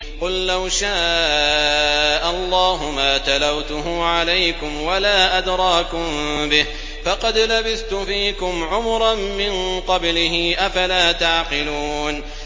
قُل لَّوْ شَاءَ اللَّهُ مَا تَلَوْتُهُ عَلَيْكُمْ وَلَا أَدْرَاكُم بِهِ ۖ فَقَدْ لَبِثْتُ فِيكُمْ عُمُرًا مِّن قَبْلِهِ ۚ أَفَلَا تَعْقِلُونَ